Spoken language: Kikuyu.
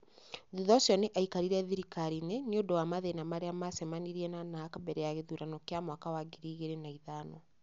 Thutha ũcio nĩ aikarire thirikari-inĩ nĩ ũndũ wa mathĩna marĩa maacemanirie na Narc mbere ya gĩthurano kĩa mwaka wa ngiri igĩrĩ na ithano.